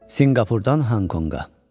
Sinqapurdan Honkonqa.